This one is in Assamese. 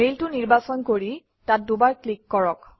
মেইলটো নিৰ্বাচন কৰি তাত দুবাৰ ক্লিক কৰক